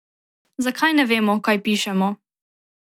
Zakaj ne vemo, kaj pišemo?